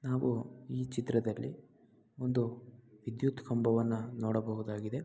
ನಾವು ಈ ಚಿತ್ರದಲ್ಲಿ ಒಂದು ವಿದ್ಯುತ್ ಕಂಬವನ್ನ ನೋಡಬಹುದಾಗಿದೆ.